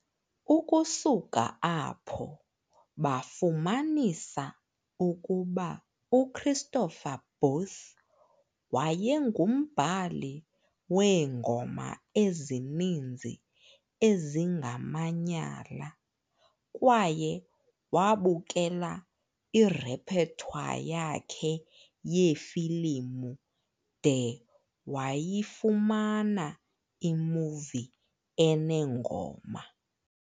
Ukusuka apho, bafumanisa ukuba uChristopher Booth wayengumbhali weengoma ezininzi ezingamanyala, kwaye wabukela irepertoire yakhe yeefilimu de bayifumana imuvi enengoma.